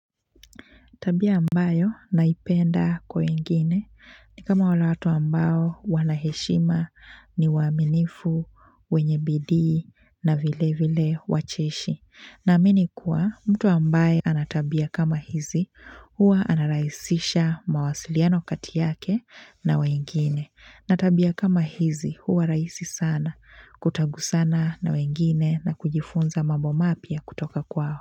Tabia ambayo naipenda kwa wengine ni kama wale watu ambao wanaheshima ni waaminifu, wenye bidii na vilevile wacheshi. Naaamini kuwa mtu ambaye anatabia kama hizi huwa anarahisisha mawasiliano kati yake na wengine. Na tabia kama hizi huwa rahisi sana kutagusana na wengine na kujifunza mambo mapya kutoka kwao.